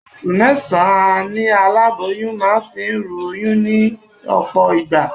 Oṣù mẹ́sàn-án ni aláboyún máa fi ń ru oyún ní ọ̀pọ̀ ìgbà